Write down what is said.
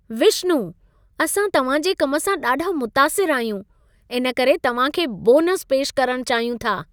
विश्नु, असां तव्हां जे कम सां ॾाढा मुतासिर आहियूं, इनकरे तव्हां खे बोनस पेश करण चाहियूं था।